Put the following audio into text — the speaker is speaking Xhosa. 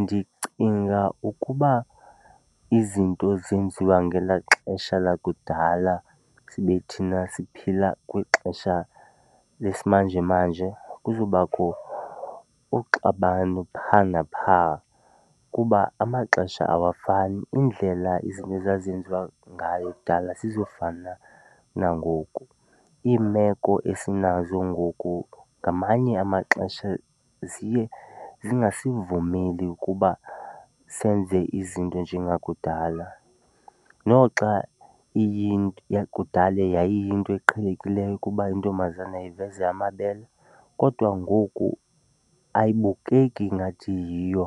Ndicinga ukuba izinto zenziwa ngelaa xesha lakudala sibe thina siphila kwixesha lesimanjemanje kuzobakho uxabano phaa naphaa kuba amaxesha awafani. Indlela izinto ezazenziwa ngayo kudala azizufana nangoku, iimeko esinazo ngoku ngamanye amaxesha ziye singasivumeli ukuba senze izinto njengakudala. Noxa iyinto yakudala yayiyinto eqhelekileyo ukuba intombazana iveze amabele, kodwa ngoku ayibukeki ingathi yiyo